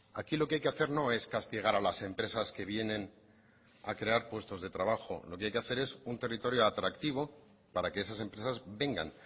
aquí lo que hay que hacer no es castigar a las empresas que vienen a crear puestos de trabajo lo que hay que hacer es un territorio atractivo para que esas empresas vengan